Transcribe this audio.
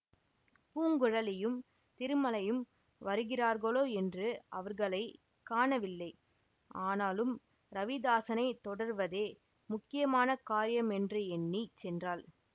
பூங்குழலியும் திருமலையும் வருகிறார்களோ என்று அவர்களை காணவில்லை ஆனாலும் ரவிதாஸனைத் தொடர்வதே முக்கியமான காரியம் என்று எண்ணி சென்றாள்